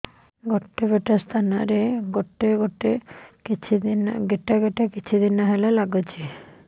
ଗୋଟେ ପଟ ସ୍ତନ ରେ ଗୋଟେ ଗେଟା କିଛି ଦିନ ହେଲା ଲାଗୁଛି